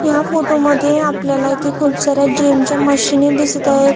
ह्या फोटो मध्ये आपल्याला इथे खुप सारे जिम च्या मशीनी दिसत आहे.